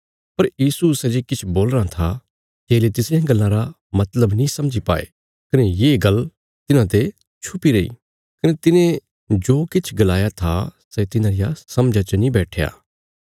पर यीशु सै जे किछ बोलीराँ था चेले तिसरियां गल्लां रा मतलब नीं समझी पाये कने ये गल्ल तिन्हाते छुपीरी रैई कने तिने जो किछ गलाया था सै तिन्हां रिया समझा च नीं बैट्ठया